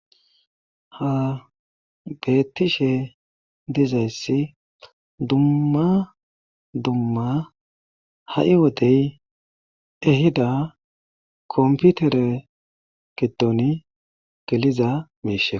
Ha n bettishe dizaysi dumma dumma ha'i wode ha kompitere gidon geliza mishi Ko....